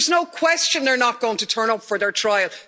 There's no question they're not going to turn up for their trial.